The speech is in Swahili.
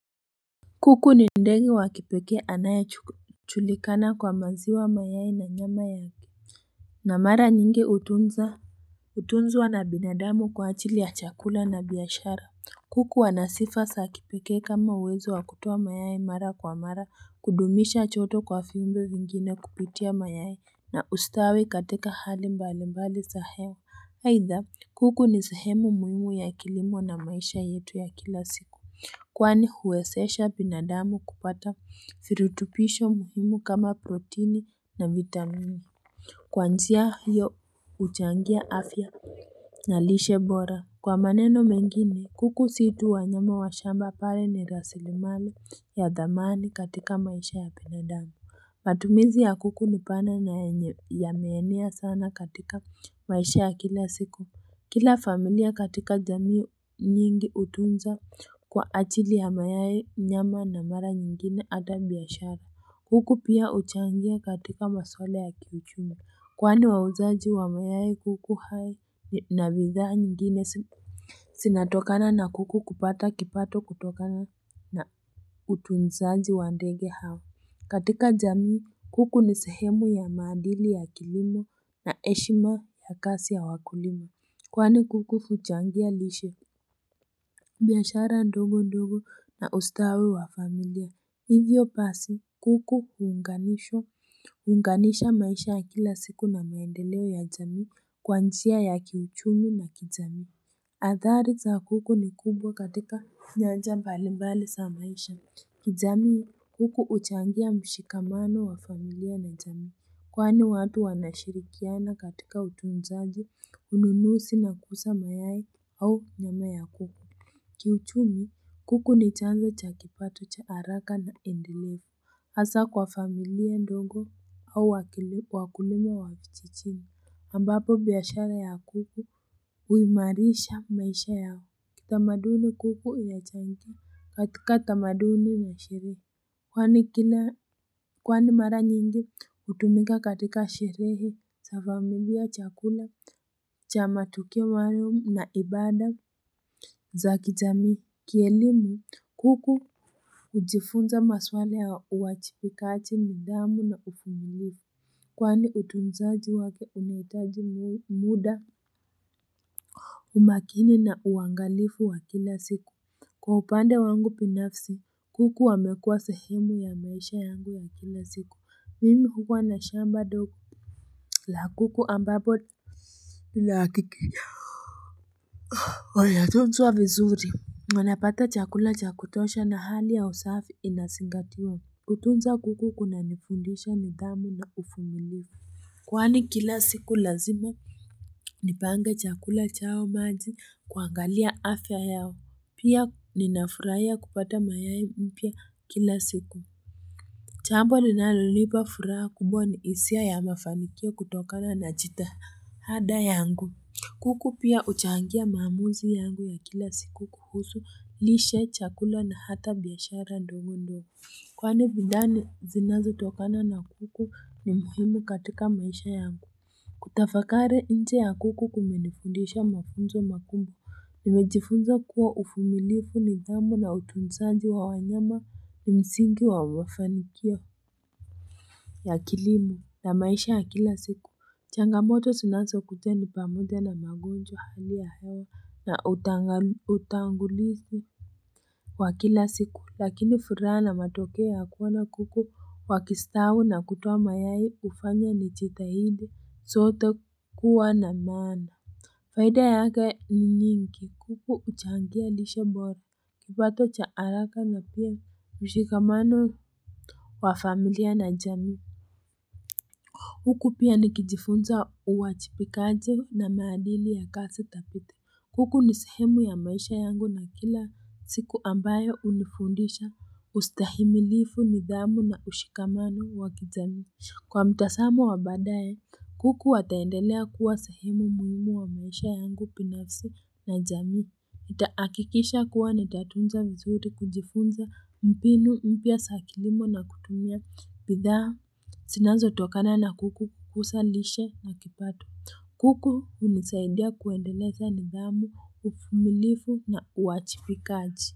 Kuku ni ndege wa kipeke anayejulikana kwa maziwa mayai na nyama yake na mara nyingi hutunza Hutunzwa na binadamu kwa ajili ya chakula na biashara kuku anasifa za kipekee kama uwezo wakutoa mayai mara kwa mara kudumisha joto kwa viumbe vingine kuputia mayai na ustawi katika hali mbali mbali za hewa aidha kuku ni sehemu muhimu ya kilimo na maisha yetu ya kila siku Kwani huwezesha binadamu kupata virutubisho muhimu kama protini na vitamini Kwa njia hiyo huchangia afya na lishe bora Kwa maneno mengini kuku si tu wanyama wa shamba pale ni rasilimali ya dhamani katika maisha ya binadamu matumizi ya kuku nipana ya meenea sana katika maisha ya kila siku Kila familia katika jamii nyingi hutunza kwa ajili ya mayai nyama na mara nyingine hata biashara. Kuku pia huchangia katika maswala ya kiuchumi. Kwani wauzaji wa mayai kuku hai na bidhaa nyingine zinatokana na kuku kupata kipato kutokana na utunzaji wa ndege hawa. Katika jamii kuku ni sehemu ya maandili ya kilimo na heshima ya kazi ya wakulima. Kwani kuku huchangia lishe. Biashara ndogo ndogo na ustawi wa familia. Hivyo basi kuku huunganishwa. Huunganisha maisha ya kila siku na maendeleo ya jamii. Kwa njia ya kiuchumi na kijamii. Adhari za kuku ni kubwa katika nyanja mbalimbale za maisha. Kijamii kuku huchangia mshikamano wa familia na jamii. Kwani watu wanashirikiana katika utunzaji, ununuzi na kuuza mayai au nyama ya kuku. Kiuchumi, kuku ni chanzo cha kipato cha haraka na endeleo. Hasa kwa familia ndongo au wakulima wakichinichini. Ambapo biashara ya kuku, huimarisha maisha yao. Kitamaduni kuku ina changia katika tamaduni na sherehe. Kwani kila kwani mara nyingi hutumika katika sherehe za familia chakula cha matukio maalum na ibada za kijami kielimu kuku hujifunza maswala ya uwajibikaji nidhamu na uvumilifu Kwani utunzaji wake unahitaji muda umakini na uangalifu wa kila siku Kwa upande wangu binafsi kuku wamekuwa sehemu ya maisha yangu ya kila siku mimi huwa na shamba dogo la kuku ambapo na hakikisha Wametunzwa vizuri wanapata chakula cha kutosha na hali ya usafi inazingatiwa kutunza kuku kuna nifundisha nidhamu na uvumilivu Kwani kila siku lazima Nipange chakula chao maji kuangalia afya yao Pia ninafurahia kupata mayai mpya kila siku. Jambo linalonipa furaha kubwa ni hisia ya mafanikia kutokana na jitahada yangu. Kuku pia huchangia maamuzi yangu ya kila siku kuhusu, lishe, chakula na hata biashara ndogo ndogo. Kwani bidhaa zinazo tokana na kuku ni muhimu katika maisha yangu. Kutafakari nje ya kuku kumenifundisha mafunzo makumbwa nimejifunza kuwa uvumilifu nidhamu na utunzaji wa wanyama ni msingi wa mafanikio ya kilimo na maisha ya kila siku changamoto zinazokuja ni pamoja na magonjwa hali ya hewa na utangulizi wa kila siku lakini furaha na matokeo ya kuona kuku wakistawi na kutoa mayai hufanya ni jitahidi sote kuwa na maana Faida yake ni nyingi kuku huchangia lishe bora kipato cha haraka na pia msikamano wa familia na jamii huku pia nikijifunza uwajibikaje na maadili ya kazi thabiti. Kuku nisehemu ya maisha yangu na kila siku ambayo hunifundisha ustahimilifu nidhamu na ushikamano wakijamii. Kwa mtaazamo wa baadaye, kuku ataendelea kuwa sehemu muhimu wa maisha yangu binafsi na jamii. Nitahakikisha kuwa ni tatunza vizuri kujifunza mbinu mpya za kilimo na kutumia bidhaa zinazo tokana na kuku kuhusulishe na kipato. Kuku unisaidia kuendeleza nidhamu, uvumilivu na uwajibikaji.